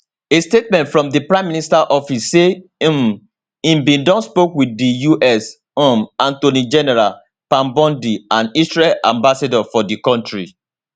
a statement from di prime minister office say um im bin don spoke wit di us um attorney general pam bondi and israel ambassador for di kontri